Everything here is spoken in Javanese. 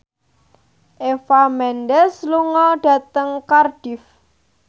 Eva Mendes lunga dhateng Cardiff